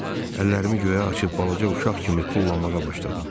Əllərimi göyə açıb balaca uşaq kimi tullanmağa başladım.